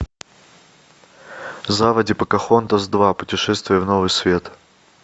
заводи покахонтас два путешествие в новый свет